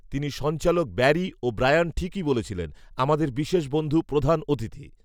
তিনি সঞ্চালক Barry, O'Brien, ঠিকই বলছিলেন, আমাদের বিশেষ বন্ধু, প্রধান, অতিথি